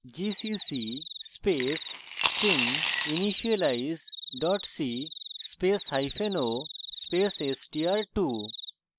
gcc space stringinitialize c spaceo space str2